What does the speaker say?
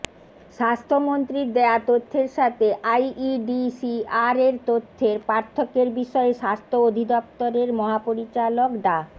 স্বাস্থ্যমন্ত্রীর দেয়া তথ্যের সাথে আইইডিসিআর এর তথ্যের পার্থক্যের বিষয়ে স্বাস্থ্য অধিদপ্তরের মহাপরিচালক ডা